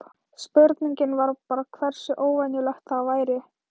Spurningin var bara hversu óvenjulegt það væri.